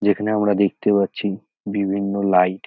যেখানে আমরা দেখতে পাচ্ছি বিভিন্ন লাইট ।